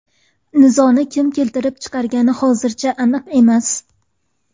Nizoni kim keltirib chiqargani hozircha aniq emas.